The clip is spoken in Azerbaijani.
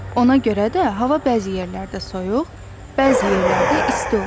Ona görə də hava bəzi yerlərdə soyuq, bəzi yerlərdə isti olur.